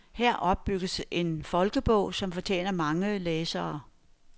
Her opbygges en folkebog, som fortjener mange læsere.